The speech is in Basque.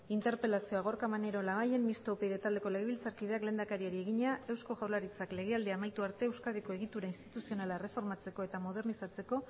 interpelazioa gorka maneiro labayen mistoa upyd taldeko legebiltzarkideak lehendakariari egina eusko jaurlaritzak legealdia amaitu arte euskadiko egitura instituzionala erreformatzeko eta modernizatzeko